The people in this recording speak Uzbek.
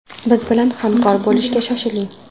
Biz bilan hamkor bo‘lishga shoshiling!